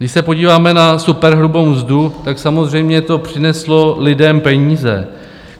Když se podíváme na superhrubou mzdu, tak samozřejmě to přineslo lidem peníze.